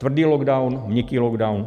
Tvrdý lockdown, měkký lockdown.